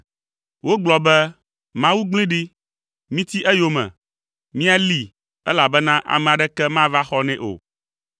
Wogblɔ be, “Mawu gblẽe ɖi, míti eyome, míalée, elabena ame aɖeke mava axɔ nɛ o.”